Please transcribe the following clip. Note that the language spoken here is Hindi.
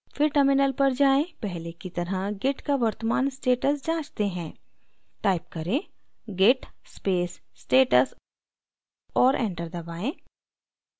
फिर terminal पर जाएँ पहले की तरह git का वर्तमान status जाँचते हैं type करें: git space status और enter दबाएँ